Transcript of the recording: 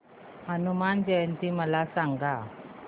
हनुमान जयंती मला सांगा